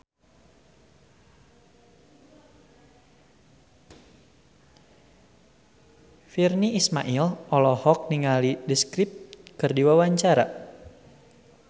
Virnie Ismail olohok ningali The Script keur diwawancara